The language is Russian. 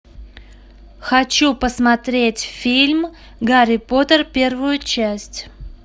хочу посмотреть фильм гарри поттер первую часть